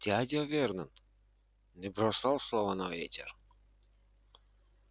дядя вернон не бросал слова на ветер